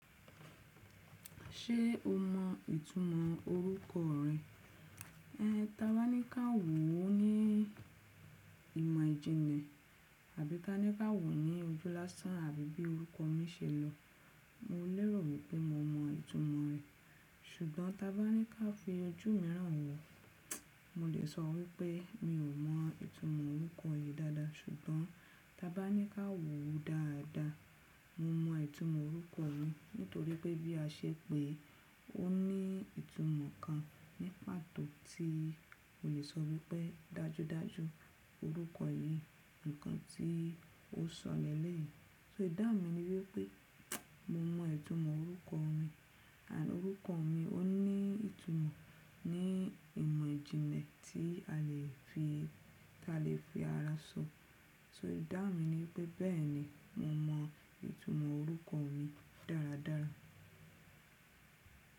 Ṣé o mọ ìtumọ̀ orúkọ rẹ? Ẹ, ta bá ní ká wò ó ní ìmọ ìjìnlẹ, àbí ka ní ká wò ó ní ojú lásán, àbí bí orúkọ mi ṣe lọ, mo lérò wípé mo mọ ìtumọ̀ rẹ̀. Ṣùgbọ́n ta bá ní ká fi ojú mìíràn wò ó, mo lè sọ wípé mi ò mọ ìtumọ̀ orúkọ yìí dáadáa. Ṣùgbọ́n ta bá ní ká wò ó dáadáa, mo mọ ìtumọ̀ orúkọ mi nítorí pé bí a ṣé pé ó ní ìtumọ̀ kan ní pàtó tí o lè sọ wípé dájudáju orúkọ yìí, ǹkan tí ó sọ lẹ́lẹ̀ yìí. So ìdáhun mi ni wípé mo mọ ìtumọ̀ orúkọ mi. Òrúkọ mi ó ní ìtumọ̀ ní ìmọ̀ ìjìnlẹ tí a lè fi, tí a lè fi ara sọ. So ìdáhun mi ni wípé bẹ́ẹ̀ni mo mọ ìtumọ̀ orúkọ mi dáradára.